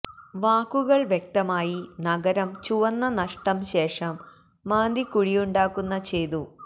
വാക്കുകൾ വ്യക്തമായി നഗരം ചുവന്ന നഷ്ടം ശേഷം മാന്തികുഴിയുണ്ടാക്കുന്ന ചെയ്തു